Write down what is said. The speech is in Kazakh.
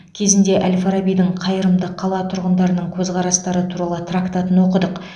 кезінде әл фарабидің қайырымды қала тұрғындарының көзқарастары туралы трактатын оқыдық